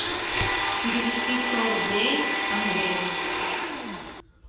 перевести сто рублей андрею